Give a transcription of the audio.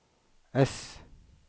S